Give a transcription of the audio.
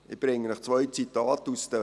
Ich bringe zwei Medienzitate von damals.